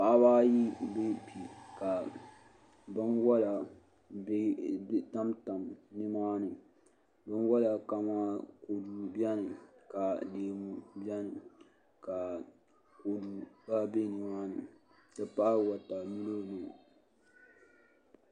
Paɣaba ayi n bɛ kpɛ ka binwola tamtam nimaani binwola kamani kodu biɛni ka leemu biɛni ka kodu gba biɛ nimaani n ti pahi wotamilo